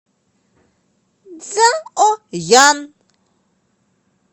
цзаоян